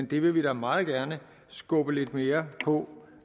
vi vil da meget gerne skubbe lidt mere på